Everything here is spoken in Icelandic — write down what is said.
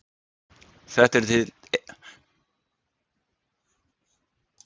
Þetta eru til dæmis stjórnsýsluákvarðanir um málefni barna eða þroskaheftra.